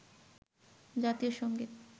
জাতীয় সঙ্গীত